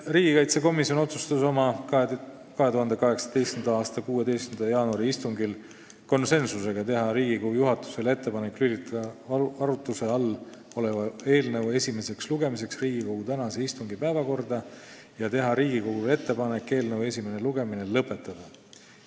Riigikaitsekomisjon otsustas oma 2018. aasta 16. jaanuari istungil teha Riigikogu juhatusele ettepaneku lülitada arutluse all olev eelnõu esimeseks lugemiseks Riigikogu tänase istungi päevakorda ja teha Riigikogule ettepaneku eelnõu esimene lugemine lõpetada .